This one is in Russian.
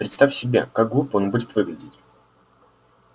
представь себе как глупо он будет выглядеть